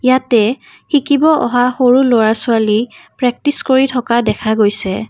ইয়াতে শিকিব অহা সৰু লৰা-ছোৱালী প্ৰক্টিচ কৰি থকা দেখা গৈছে।